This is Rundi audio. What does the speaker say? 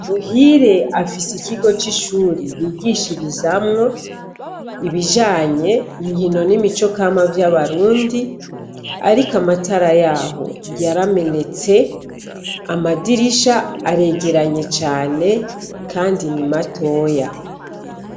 Muhire afise ikigo c'ishuri bigishirizamwo ibijanye inkino n' imicokama vy' Abarundi ariko amatara yaho yaramenetse amadirisha aregeranye cane kandi ni matoya.